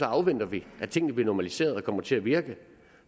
afventer vi at tingene bliver normaliseret og kommer til at virke